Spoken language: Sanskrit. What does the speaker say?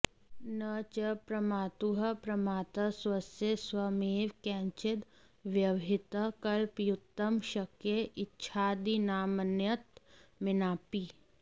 न च प्रमातुः प्रमाता स्वस्य स्वयमेव केनचिद् व्यवहितः कल्पयितुं शक्य इच्छादीनामन्यतमेनापि